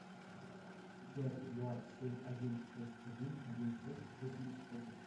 пять два семь один шесть один один шесть восемьдесят один